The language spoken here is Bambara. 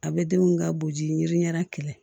A bɛ denw ka boji ɲɛda kɛlɛ